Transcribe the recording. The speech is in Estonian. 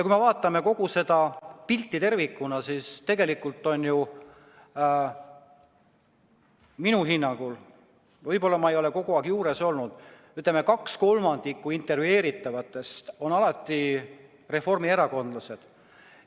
Kui me vaatame kogu seda pilti tervikuna, siis tegelikult minu hinnangul, võib-olla ma ei ole kogu aeg juures olnud, on umbes 2/3 intervjueeritavatest alati reformierakondlased.